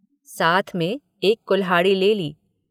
साथ में एक कुल्हाड़ी ले ली।